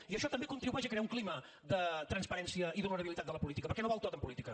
i això també contribueix a crear un clima de transparència i d’honorabilitat de la política perquè no val tot en política